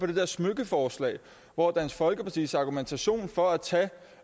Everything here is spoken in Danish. det der smykkeforslag hvor dansk folkepartis argumentation for at tage